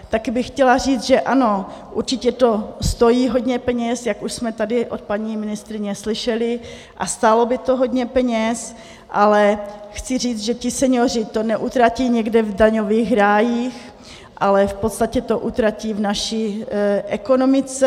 Taky bych chtěla říct, že ano, určitě to stojí hodně peněz, jak už jsme tady od paní ministryně slyšeli, a stálo by to hodně peněz, ale chci říct, že ti senioři to neutratí někde v daňových rájích, ale v podstatě to utratí v naší ekonomice.